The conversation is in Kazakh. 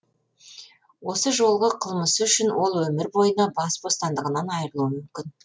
осы жолғы қылмысы үшін ол өмір бойына бас бостандығынан айрылуы мүмкін